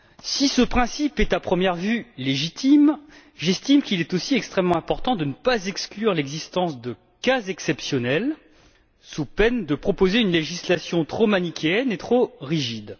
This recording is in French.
Si ce principe est à première vue légitime, j'estime qu'il est aussi extrêmement important de ne pas exclure l'existence de cas exceptionnels, sous peine de proposer une législation trop manichéenne et trop rigide.